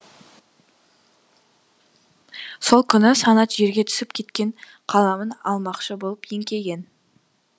сол күні санат жерге түсіп кеткен қаламын алмақшы болып еңкейген